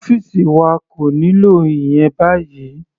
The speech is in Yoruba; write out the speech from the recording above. Ọ́fìsì wa kò nílò ìyẹn báyìí.